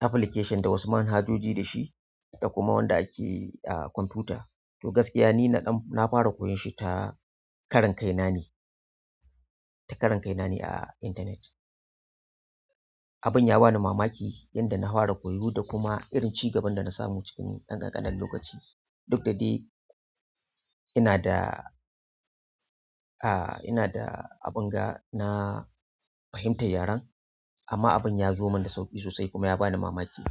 application da wasu manhajoji da shi da kuma wanda ake a kwamfuta. To gaskiya ni na ɗan fara koya shi ta karan kaina ne a internet. Abin ya bani mamaki yanda na fara koyo da kuma irin ci gaban da na samu cikin ɗan ƙanƙanan lokaci. Duk da dai ina da, ah ina da abin ga na fahimtar yaren amma abin ya zo mun da sauƙi sosai kuma ya bani mamaki.